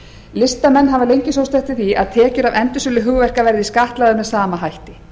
listamenn hafa lengi sótt eftir því að tekjur af endursölu hugverka verði skattlagðar með sama hætti